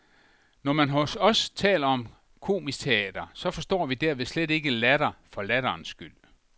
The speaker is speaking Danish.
Når man hos os taler om komisk teater, så forstår vi derved slet ikke latter for latterens skyld.